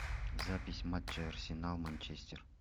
запись матча арсенал манчестер